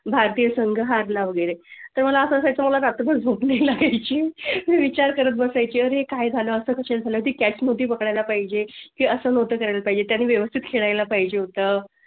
भारतीय संघ हारला वगैरे तरअसा सव्हताला साठी लागेल ची विचार करत बसाय ची अरे काय झालं असेल ते catch मध्ये बघायला पाहिजे. हो चालेल पाहिजे. त्यांनी व्यवस्थित खेळायला पाहिजे होतं